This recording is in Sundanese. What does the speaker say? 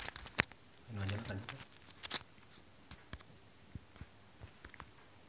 Alam olohok ningali Sandar Bullock keur diwawancara